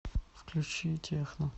включи техно